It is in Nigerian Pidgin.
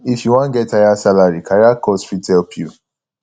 if you wan get higher salary career course fit help you